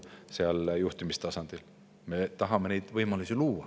Me tahame luua neile võimalusi.